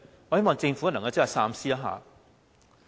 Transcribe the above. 我希望政府能夠三思。